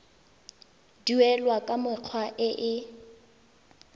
duelwa ka mekgwa e e